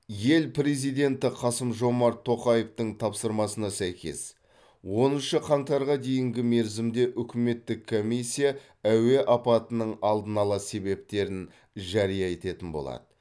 ел президенті қасым жомарт тоқаевтың тапсырмасына сәйкес оныншы қаңтарға дейінгі мерзімде үкіметтік комиссия әуе апатының алдын ала себептерін жария ететін болады